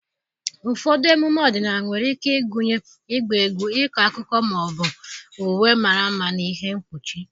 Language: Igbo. Ụfọdụ emume ọdịnala nwere ike ịgụnye ịgba egwu, ịkọ akụkọ, ma ọ bụ uwe mara mma na ihe mkpuchi.